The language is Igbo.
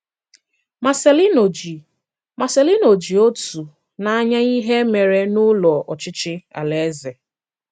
Marcelino ji Marcelino ji ọ̀tụ̀ n’anya ìhè mèrè n’Ụ́lọ̀ Ọchịchị ala-eze.